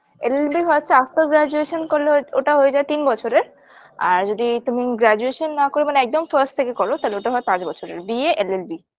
llB ‌ হচ্ছে after Graduation করলে ওট ওটা হয়ে যায় তিন বছরের আর যদি তুমি graduation না করে একদম fast থেকে করো তাহলে ওটা হয় পাঁচ বছরের ba llb